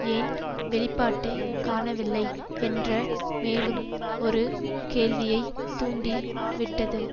ஏன் வெளிப்பாட்டை காணவில்லை என்ற மேலும் ஒரு கேள்வியைத் தூண்டி விட்டது